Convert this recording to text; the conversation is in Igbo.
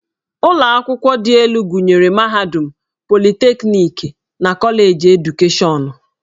Ụlọ akwụkwọ dị elu gụnyere mahadum, politekniki, na Koleji Edukeshọnụ.